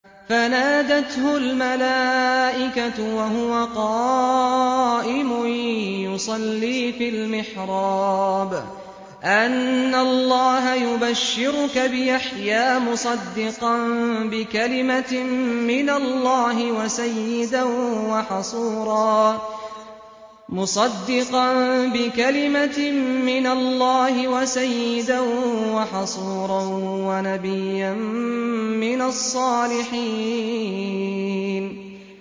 فَنَادَتْهُ الْمَلَائِكَةُ وَهُوَ قَائِمٌ يُصَلِّي فِي الْمِحْرَابِ أَنَّ اللَّهَ يُبَشِّرُكَ بِيَحْيَىٰ مُصَدِّقًا بِكَلِمَةٍ مِّنَ اللَّهِ وَسَيِّدًا وَحَصُورًا وَنَبِيًّا مِّنَ الصَّالِحِينَ